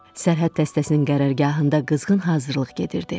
Sərhəd dəstəsinin qərargahında qızğın hazırlıq gedirdi.